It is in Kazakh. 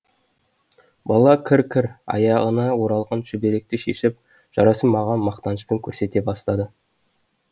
бала кір кір аяғына оралған шүберекті шешіп жарасын маған мақтанышпен көрсете бастады